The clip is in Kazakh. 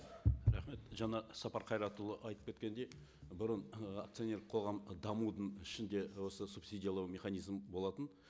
рахмет жаңа сапар қайратұлы айтып кеткендей бұрын ы акционерлік қоғам дамудың ішінде осы субсидиялау механизмі болатын